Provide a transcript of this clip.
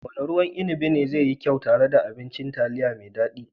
Wanne ruwan inibi ne zai yi kyau tare da abincin taliya mai daɗi?